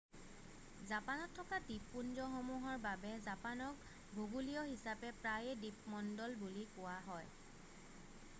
"জাপানত থকা দ্বীপপুঞ্জসমূহৰ বাবে জাপানক ভূগোলীয় হিচাপে প্ৰায়ে "দ্বীপমণ্ডল" বুলি কোৱা হয়।""